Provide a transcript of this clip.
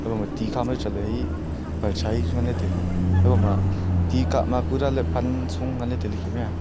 haiboma tini khama chatley hai perchai chu nganla tailey haiboma ti kah ma pura ley pan su ngan tailey kem a.